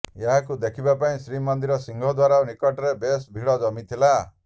ଏହାକୁ ଦେଖିବା ପାଇଁ ଶ୍ରୀମନ୍ଦିର ସିଂହଦ୍ୱାର ନିକଟରେ ବେଶ ଭିଡ଼ ଜମିଥିଲା